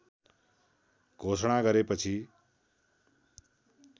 घोषणा गरेपछि